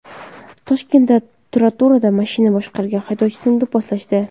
Toshkentda trotuarda mashina boshqargan haydovchini do‘pposlashdi.